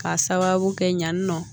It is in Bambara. K'a sababu kɛ ɲan nɔ